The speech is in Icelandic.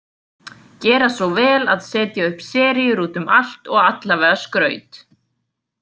Gera svo vel að setja upp seríur út um allt og allavega skraut.